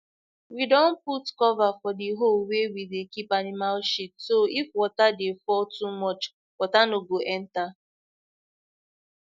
we don put cover for the hole wey we dey keep animal shit so if water dey fall too much water no go enter